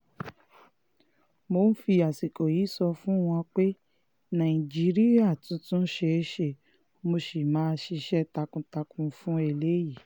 mo ń fi àsìkò yìí sọ fún wọn pé nàìjíríà tuntun ṣeé ṣe mo sì máa ṣiṣẹ́ takuntakun fún eléyìí